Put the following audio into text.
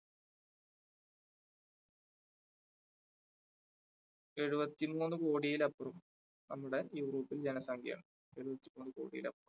എഴുപത്തിമൂന്ന് കോടിയിലപ്പുറം നമ്മുടെ യൂറോപ്പിൽ ജനസംഖ്യ എഴുപത്തിമൂന്ന് കോടിയിൽ അപ്പുറം